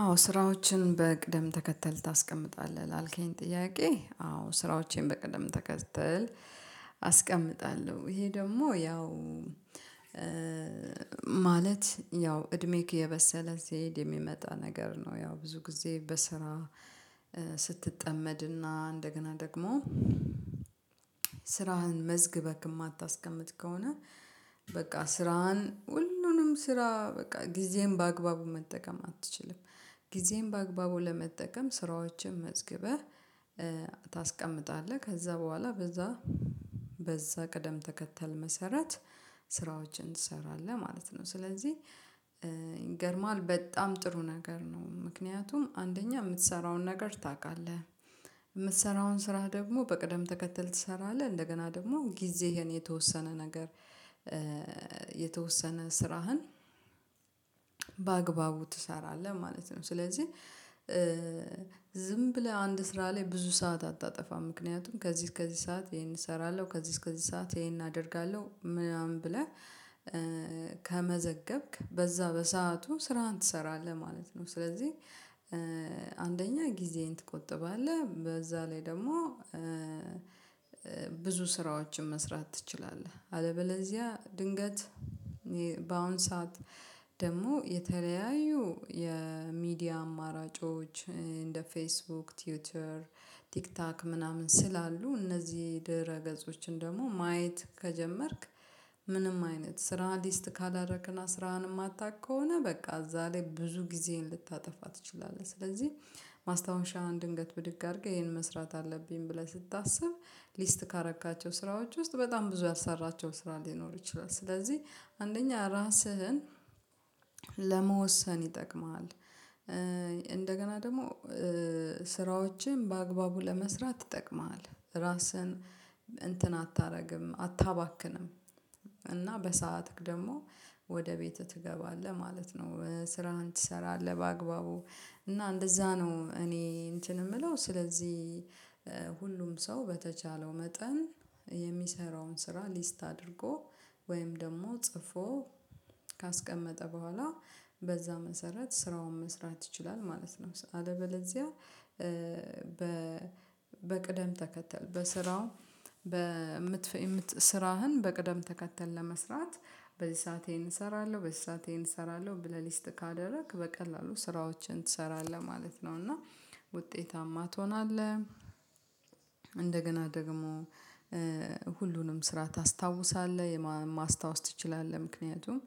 አዎ ስራዎችን በቅደም ተከተል ታስቀምጣለህ? ላልከኝ ጥያቄ አዎ ስራዎቼን በቅድም ተከተል አስቀምጣለሁ። ይሄ ደግሞ ያው ማለት ያው እድሜክ እየበሰለት ሲሄድ የሚመጣ ነገር ነው። ያው ብዙ ጊዜ በስራ ስትጠመድና እንደገና ደግሞ ስራህን መዝግበክ የማታስቀምጥ ከሆነ በቃ ስራህን ሁሉንም ስራ በቃ ጊዜህን በአግባቡ መጠቀም አትችልም። ጊዜን በአግባቡ ለመጠቀም ስራዎችን መዝግበህ ታስቀምጣለህ። ከዛ በኋላ በዛ በዛ ቅደም ተከተል መሰረት ስራዎችን ትሰራለህ ማለት ነው። ስለዚህ ይገርምሃል በጣም ጥሩ ነገር ነው። ምክንያቱም አንደኛ የምትሰራውን ነገር ታውቃለህ። የምትሰራውን ስራ ደግሞ በቅደም ተከተል ትሰራለህ። እንደገና ደግሞ ጊዜህን የተወሰነ ነገር የተወሰነ ስራህን በአግባቡ ትሰራለህ ማለት ነው። ስለዚህ ዝም ብለህ አንድ ስራ ላይ ብዙ ሰዓት አታጠፋም። ምክንያቱም ከዚህ እስከዚህ ሰዓት ይሄን እሰራለሁ፤ ከዚህ እስከዚህ ሰዓት ይሄን አደርጋለሁ ምናምን ብለህ ከመዘገብክ በዛ በሰአቱ ስራህን ትሰራለህ ማለት ነው። ስለዚህ አንደኛ ጊዜህን ትቆጥባለህ። በዛ ላይ ደግሞ ብዙ ስራዎችን መስራት ትችላለህ። አለበለዚያ ድንገት በአሁን ሰዓት ደግሞ የተለያዩ የሚዲያ አማራጮች እንደ ፌስቡክ ትዊተር ቲክቶክ ምናምን ስላሉ እነዚህ ድረ ገጾችን ደግሞ ማየት ከጀመርክ ምንም አይነት ስራ ሊስት ካላደረግክና ስራህን የማታውቅ ከሆነ በቃ እዛ ላይ ብዙ ጊዜህን ልታጠፋ ትችላለህ። ስለዚህ ማስታወሻህን ድንገት ብድግ አድርገህ ይሄን መስራት አለብኝ ብለህ ስታስብ ሊስት ካደረካቸው ስራዎች ውስጥ በጣም ብዙ ያልሰራሃቸው ስራ ሊኖር ይችላል። ስለዚህ አንደኛ ራስህን ለመወሰን ይጠቅምሃል። እንደገና ደግሞ ስራዎችን በአግባቡ ለመስራት ይጠቅምሃል። ራስህን እንትን አታደርግም አታባክንም። እና በሰአትህ ደግሞ ወደ ቤት ትገባለህ ማለት ነው። ስራህን ትሰራለህ በአግባቡ። እና እንደዛ ነው እኔ እንትን የምለው ስለዚህ ሁሉም ሰው በተቻለው መጠን የሚሰራውን ስራ ሊስት አድርጎ ወይም ደግሞ ጽፎ ካስቀመጠ በኋላ በዛ መሰረት ስራውን መስራት ይችላል ማለት ነው። አለበለዚያ በ በቅደም ተከተል በስራው በምት ስራህን በቅደም ተከተል ለመስራት በዚህ ሰዓት ይሄን እሰራለሁ በዚህ ሰዓት ይሄን እሰራለሁ ብለህ ሊስት ካደረግክ በቀላሉ ስራዎችን ትሰራለህ ማለት ነው። እና ውጤታማ ትሆናለህ። እንደገና ደግሞ ሁሉንም ስራ ታስታውሳለህ። ማስታወስ ትችላለህ። ምክንያቱም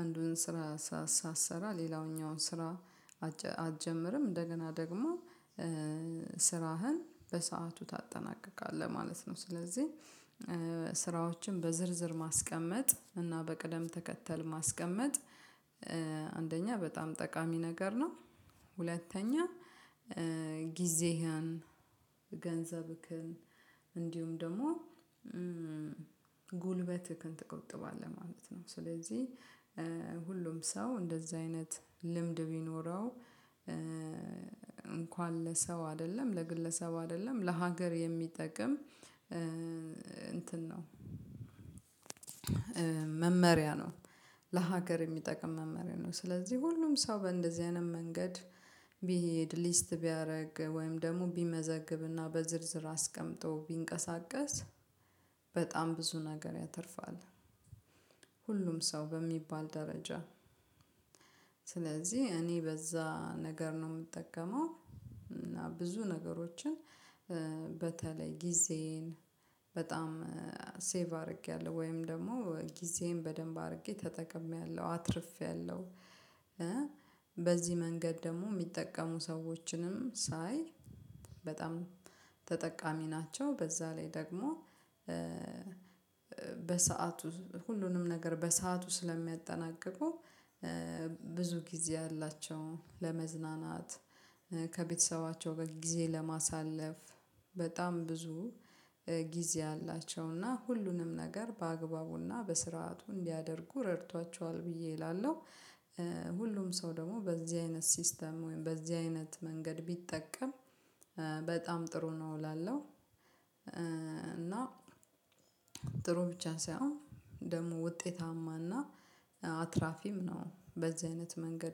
አንዱን ስራ ሳትሰራ ሌላውኛውን ስራ አትጀምርም። እንደገና ደግሞ ስራህን በሰአቱ ታጠናቅቃለህ ማለት ነው። ስለዚህ ስራዎችን በዝርዝር ማስቀመጥ እና በቅደም ተከተል ማስቀመጥ አንደኛ በጣም ጠቃሚ ነገር ነው። ሁለተኛ ጊዜህን ገንዘብህን እንዲሁም ደግሞ ጉልበትህን ትቆጥባለህ ማለት ነው። ስለዚህ ሁሉም ሰው እንደዛ አይነት ልምድ ቢኖረው እንኳን ለሰው አይደለም ለግለሰብ አይደለም ለሀገር የሚጠቅም እንትን ነው። መመሪያ ነው። ለሀገር የሚጠቅም መመሪያ ነው። ስለዚህ ሁሉም ሰው በእንደዚህ አይነት መንገድ ቢሄድ ሊስት ቢያደርግ ወይም ደግሞ ቢመዘግብና በዝርዝር አስቀምጦ ቢንቀሳቀስ በጣም ብዙ ነገር ያተርፋል። ሁሉም ሰው በሚባል ደረጃ ስለዚህ እኔ በዛ ነገር ነው የምጠቀመው። እና ብዙ ነገሮችን በተለይ ጊዜዬን በጣም ሴቭ አድርጌያለሁ ወይም ደግሞ ጊዜዬን በደንብ አድርጌ ተጠቅሜያለሁ፤ አትርፌያለሁ። በዚህ መንገድ ደግሞ የሚጠቀሙ ሰዎችንም ሳይ በጣም ተጠቃሚ ናቸው። በዛ ላይ ደግሞ በሰአቱ ሁሉንም ነገር በሰአቱ ስለሚያጠናቅቁ ብዙ ጊዜ አላቸው። ለመዝናናት ከቤተሰባቸው ጊዜ ለማሳለፍ በጣም ብዙ ጊዜ አላቸው። እና ሁሉንም ነገር በአግባቡና በስርዓቱ እንዲያደርጉ ረድቷቸዋል ብዬ እላለሁ። ሁሉም ሰው ደግሞ በዚህ አይነት ሲስተም ወይም በዚህ አይነት መንገድ ቢጠቀም በጣም ጥሩ ነው እላለሁ። እና ጥሩ ብቻ ሳይሆን ደግሞ ውጤታማና አትራፊም ነው። በዚህ አይነት መንገድ